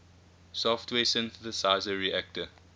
software synthesizer reaktor